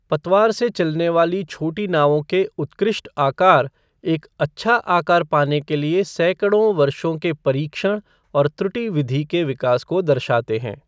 पतवार से चलने वाली छोटी नावों के उत्कृष्ट आकार, एक अच्छा आकार पाने के लिए सैकड़ों वर्षों के परीक्षण और त्रुटि विधि के विकास को दर्शाते हैं।